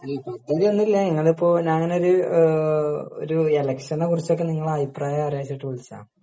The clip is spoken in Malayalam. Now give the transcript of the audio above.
അല്ല പദ്ധതി ഒന്നും ഇല്ല ഇങ്ങനിപ്പോ ഞാനൊരു ഒരു എലെക്ഷനെ കുറിച്ചൊക്കെ നിങ്ങളുടെ അഭിപ്രായം അറിയാച്ചിട്ട് വിളിച്ചതാ